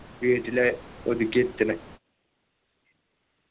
വീട്ടില് ഒതുക്കി നിർത്തണ്